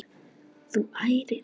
Þú ærir andana!